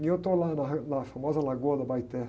E eu estou lá na re, na famosa lagoa da.